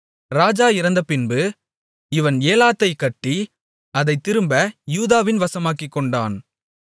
ராஜா இறந்தபின்பு இவன் ஏலாத்தைக் கட்டி அதைத் திரும்ப யூதாவின் வசமாக்கிக்கொண்டான்